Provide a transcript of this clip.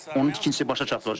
Onun tikintisi başa çatdırılacaq.